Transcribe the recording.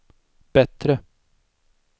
bättre